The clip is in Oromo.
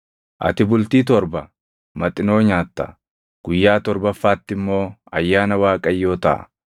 ati bultii torba Maxinoo nyaatta; guyyaa torbaffaatti immoo ayyaana Waaqayyoo taʼa.